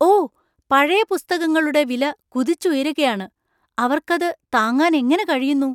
ഓ! പഴയ പുസ്തകങ്ങളുടെ വില കുതിച്ചുയരുകയാണ്. അവർക്ക് അത് താങ്ങാൻ എങ്ങനെ കഴിയുന്നു!